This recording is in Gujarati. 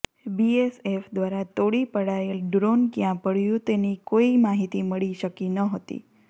બીએસએફ દ્વારા તોડી પડાયેલ ડ્રોન ક્યાં પડયું હતું તેની કોઈ માહિતી મળી શકી ન હોતી